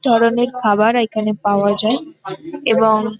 ধরণের খাবার এখানে পাওয়া যায় এবং--